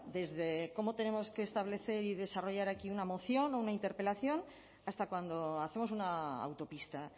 desde cómo tenemos que establecer y desarrollar aquí una moción o una interpelación hasta cuando hacemos una autopista